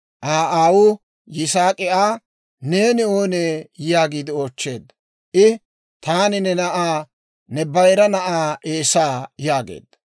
Aa aawuu Yisaak'i Aa, «Neeni oonee?» yaagiide oochcheedda. I, «Taani ne na'aa, ne bayira na'aa Eesaa» yaageedda.